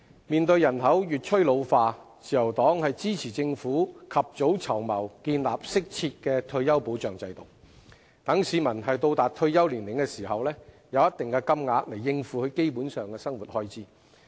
面對人口越趨老化，自由黨支持政府及早籌謀，建立適切的退休保障制度，讓市民達退休年齡時能有一定的金額應付基本生活開支。